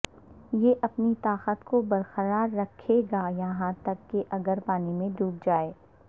یہ اپنی طاقت کو برقرار رکھے گا یہاں تک کہ اگر پانی میں ڈوب جائے